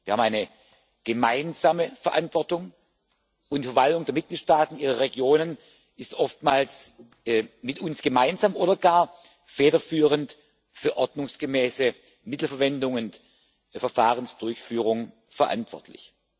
Wir haben eine gemeinsame Verantwortung, und die Verwaltung der Mitgliedstaaten, ihrer Regionen ist oftmals mit uns gemeinsam oder gar federführend für eine ordnungsgemäße Mittelverwendung und Verfahrensdurchführung verantwortlich.